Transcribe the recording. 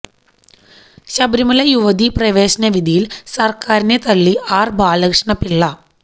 ശബരിമല യുവതി പ്രവേശന വിധിയിൽ സർക്കാരിനെ തള്ളി ആർ ബാലകൃഷ്ണപിള്ള